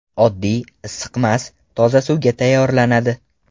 Oddiy, issiqmas, toza suvga tayyorlanadi.